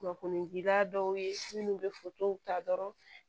Kunnafonidira dɔw ye minnu bɛ ta dɔrɔn